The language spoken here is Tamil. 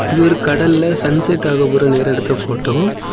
இது ஒரு கடல்ல சன்செட் ஆகப்போற நேரம் எடுத்த ஃபோட்டோ .